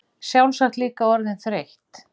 Sjálfsagt líka orðin þreytt.